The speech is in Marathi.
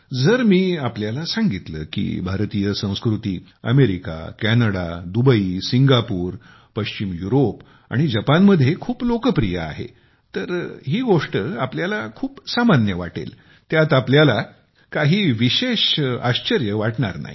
जर मी आपल्याला सांगितले की भारतीय संस्कृती अमेरिका कॅनडा सिंगापूर पश्चिम युरोप आणि जपान मध्ये खूप लोकप्रिय आहे तर ही गोष्ट आपल्याला खूप सामान्य साधारण वाटेल त्यात तुम्हाला काहीच विशेष आश्चर्य वाटणार नाही